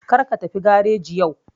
Kar ka tafi gareji yau